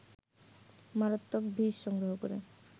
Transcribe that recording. মারাত্মক বিষ সংগ্রহ করে